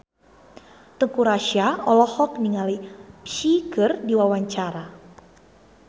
Teuku Rassya olohok ningali Psy keur diwawancara